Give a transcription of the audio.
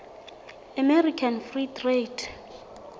american free trade